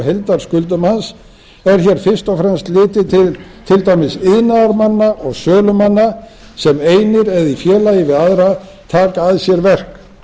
heildarskuldum hans er hér fyrst og fremst litið til til dæmis iðnaðarmanna og sölumanna sem einir eða í félagi við aðra taka að sér verk